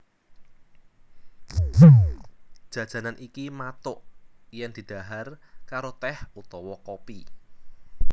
Jajanan iki mathuk yen didhahar karo tèh utawa kopi